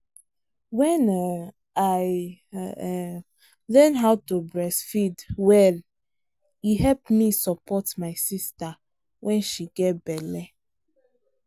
when um i um learn how to breastfeed welle help me support my sister when she get belle.